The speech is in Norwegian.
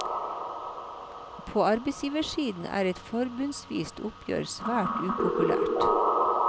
På arbeidsgiversiden er et forbundsvist oppgjør svært upopulært.